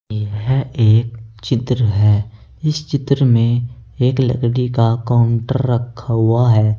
यह एक चित्र है। इस चित्र में एक लकड़ी का काउंटर रखा हुआ है।